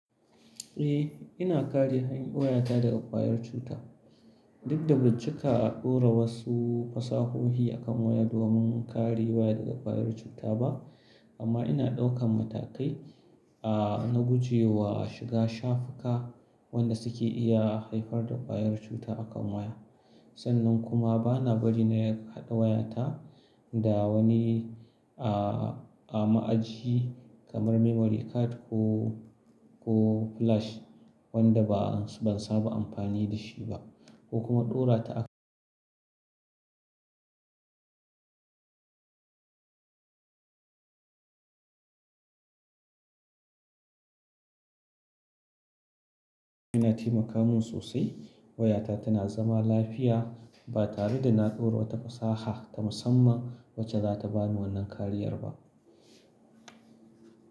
Eh, ina kare waya ta daga kuwanyan cuta. Duk da ba cika a ɗora wasu fasahohi a kan waya domin kare waya daga kuwayar cuta ba, amma ina ɗaukan matakai, aa na gujewa shiga shafuka wanda suke iya haifar da kuwayar cuta a kan waya. Sannan kuma bana bari na haɗa wayata da wani aa a ma'aji kamar memory card ko, ko flash wadda ba ban saba amfani da shi ba ko kuma ɗora ta a makamun sosai. Wayata tana zaman lafiya ba tare da na ɗora wata fasaha ta musamman wacce za ta bani wannan kariyar ba.